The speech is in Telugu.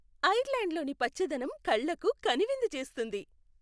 ఐర్లాండ్లోని పచ్చదనం కళ్లకు కనువిందు చేస్తుంది.